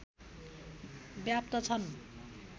व्याप्त छन्